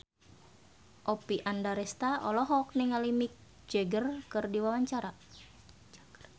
Oppie Andaresta olohok ningali Mick Jagger keur diwawancara